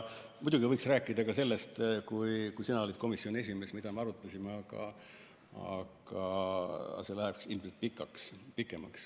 Muidugi võiks rääkida ka sellest, mida me siis, kui sina olid komisjoni esimees, arutasime, aga see läheks ilmselt pikale.